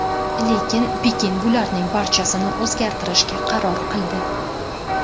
Lekin Pekin bularning barchasini o‘zgartirishga qaror qildi.